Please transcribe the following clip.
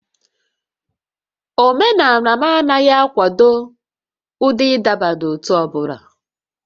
Omenala m anaghị akwado ụdị ịdọba n'ótú ọ bụla